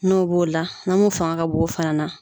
N'o b'o la na mun fanga ka bon o fana na.